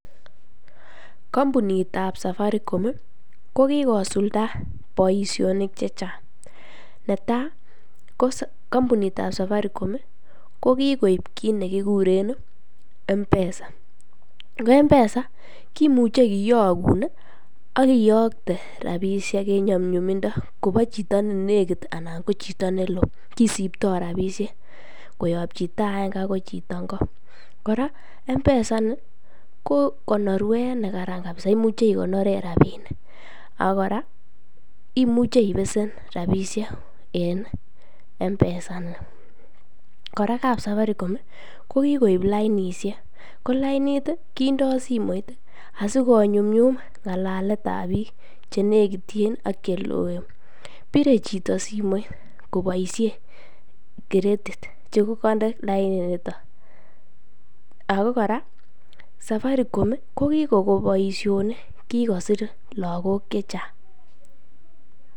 Kombunitab Safaricom ko kikosulda boishonik chechang, netaa ko kombunitab Safaricom ko kikoib kiit nekikuren mpesa, ko mpesa kimuche kiyokun ak iyokte rabishek en nyumnyumindo kobo chito ne nekit alaan ko chito neloo kisipto rabishek koyob chito aeng'e akoi chito ng'o, kora mpesa inii ko konorwet nekaran kabisa, imuche ikonoren rabinik ak kora imuche ibesen rabishek en mpesa inii, kora kap Safaricom ko kikoib lainishek ko lainit kindo simoit asikonyumnyum ng'alaletab biik chenekityin ak cheloen, biree chito simoit koboishen credit chekokonde laininiton ak ko kora Safaricom ko kikoko boishonik, kikosir lokok chechang.